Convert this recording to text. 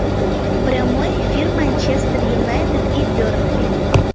прямой эфир манчестер юнайтед и бернли